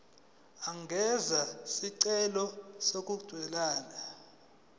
angenza isicelo sokubuyiselwa